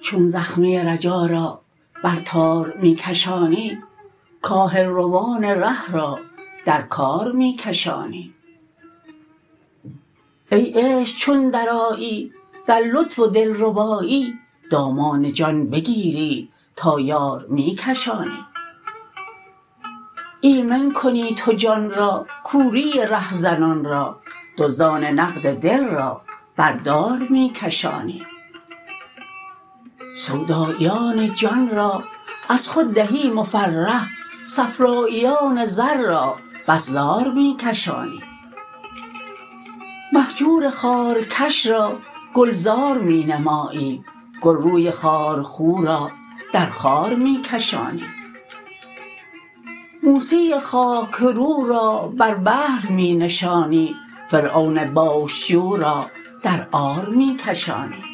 چون زخمه رجا را بر تار می کشانی کاهل روان ره را در کار می کشانی ای عشق چون درآیی در لطف و دلربایی دامان جان بگیری تا یار می کشانی ایمن کنی تو جان را کوری رهزنان را دزدان نقد دل را بر دار می کشانی سوداییان جان را از خود دهی مفرح صفراییان زر را بس زار می کشانی مهجور خارکش را گلزار می نمایی گلروی خارخو را در خار می کشانی موسی خاک رو را بر بحر می نشانی فرعون بوش جو را در عار می کشانی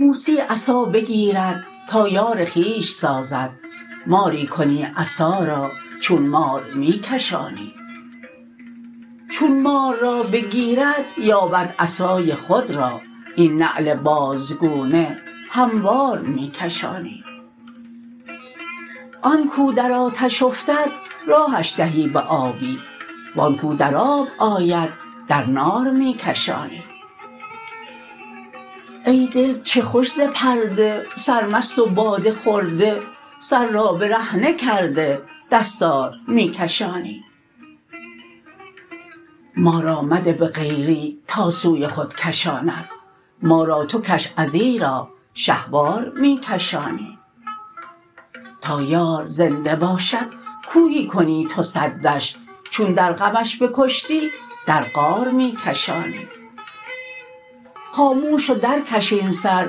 موسی عصا بگیرد تا یار خویش سازد ماری کنی عصا را چون مار می کشانی چون مار را بگیرد یابد عصای خود را این نعل بازگونه هموار می کشانی آن کو در آتش افتد راهش دهی به آبی و آن کو در آب آید در نار می کشانی ای دل چه خوش ز پرده سرمست و باده خورده سر را برهنه کرده دستار می کشانی ما را مده به غیری تا سوی خود کشاند ما را تو کش ازیرا شهوار می کشانی تا یار زنده باشد کوهی کنی تو سدش چون در غمش بکشتی در غار می کشانی خاموش و درکش این سر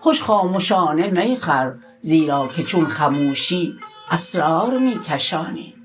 خوش خامشانه می خور زیرا که چون خموشی اسرار می کشانی